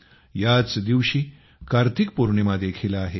याच दिवशी कार्तिक पौर्णिमा देखील आहे